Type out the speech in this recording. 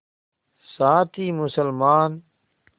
साथ ही मुसलमान